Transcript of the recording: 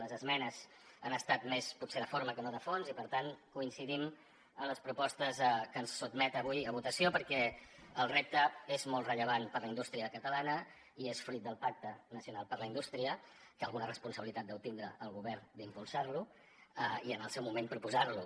les esmenes han estat més potser de forma que no de fons i per tant coincidim en les propostes que sotmet avui a votació perquè el repte és molt rellevant per a la indústria catalana i és fruit del pacte nacional per a la indústria que alguna responsabilitat deu tenir el govern d’impulsar lo i en el seu moment proposar lo